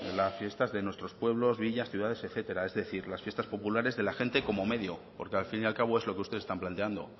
las fiestas de nuestros pueblos villas ciudades etcétera es decir las fiestas populares de la gente como medio porque al fin y al cabo es lo que ustedes están planteando